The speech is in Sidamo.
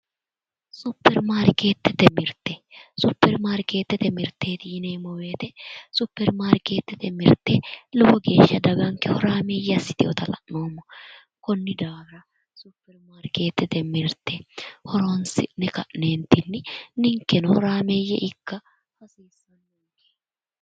Supermarkeetete mirite. Supermarkeetete mirite yineemo woyite supermarkeetete mirite lowo geesha daganikke horaameeyye assitewota la'neemo konni daafira supermarkeetete mirite horonisi'ne ka'neenitinni ninikeno horaameeyye ikka hasiissanonike